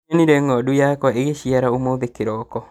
Nĩnyonire ng'ondu yakwa ĩgĩciara ũmũthĩ kĩroko